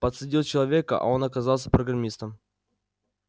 подсадил человека а он оказался программистом